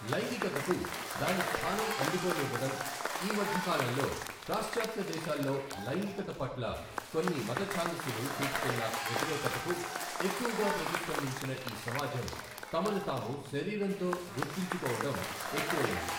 లైంగికతకు దాని స్థానం అందుకోనివ్వడం ఈ మధ్యకాలంలో ప్రాశ్చాత్య దేశాల్లో లైంగికత పట్ల కొన్ని మతఛాందసులు చూపుతున్న వ్యతిరేకతకు ఎక్కువగా ప్రతిస్పందించిన ఈ సమాజం తమను తాము శరీరంతో గుర్తించుకోవడం ఎక్కువయింది.